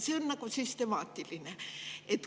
See on nagu süstemaatiline.